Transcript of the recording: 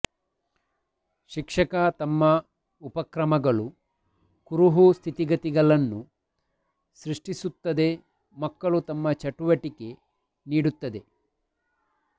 ಶಿಕ್ಷಕ ತಮ್ಮ ಉಪಕ್ರಮಗಳು ಕುರುಹು ಸ್ಥಿತಿಗತಿಗಳನ್ನು ಸೃಷ್ಟಿಸುತ್ತದೆ ಮಕ್ಕಳು ತಮ್ಮ ಚಟುವಟಿಕೆ ನೀಡುತ್ತದೆ